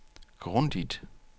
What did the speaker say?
grundigt